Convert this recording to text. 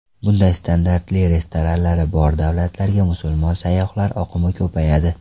Bunday standartli restoranlari bor davlatlarga musulmon sayyohlar oqimi ko‘payadi.